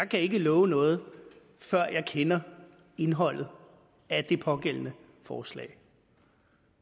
kan love noget før jeg kender indholdet af det pågældende forslag